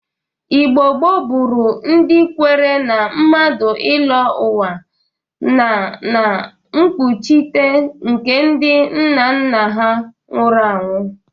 Igbo gboo bụrụ ndị kwere na mmadụ ịlọ ụwa na na mkpụchịte nke ndị nnanna ha nwụrụ anwụ